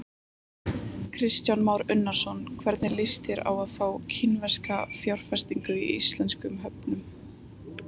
Kristján Már Unnarsson: Hvernig líst þér á það að fá kínverska fjárfestingu í íslenskum höfnum?